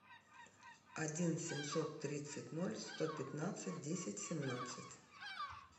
один семьсот тридцать ноль сто пятнадцать десять семнадцать